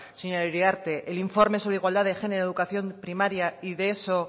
señora uriarte el informe sobre igualdad de género en educación primaria y de eso